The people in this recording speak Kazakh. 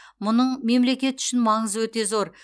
мұның мемлекет үшін маңызы өте зор